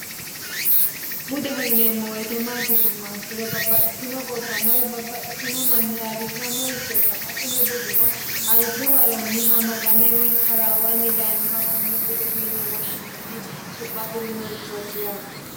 budeho yineemmo woyite maati yinummoha ikkiro babbaxxitino gobbanna woyi babbaxxitino manni ayiirrissiranoricho ikkanna Kuni buduno albi waronni amadame woyi taraawanni daayiinoha konne budeho yine woshshinanniha su'ma afirinorchooti yaate.